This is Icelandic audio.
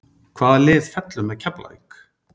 Hvaða lið fellur með Keflavík?